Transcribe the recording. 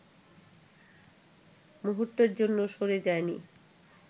মুহূর্তের জন্য সরে যায়নি